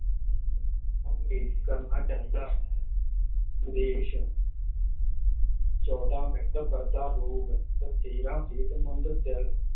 ਕਰਨਾ ਚਾਹੀਦਾ ਹੈ ਵਿਦੇਸ਼ ਚੌਦਾਂ ਬਰਦਾ ਰੋਗ ਤੇ ਤੇਰਾਂ ਸਿਹਤਮੰਦ ਦਿਲ